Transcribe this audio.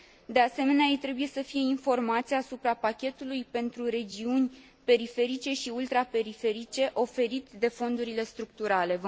De asemenea, ei trebuie să fie informați asupra pachetului pentru regiuni periferice și ultraperiferice, oferit de fondurile structurale.